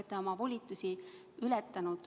Te olete oma volitusi suurelt ületanud.